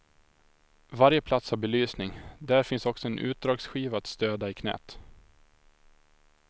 Varje plats har belysning, där finns också en utdragsskiva att stöda i knät.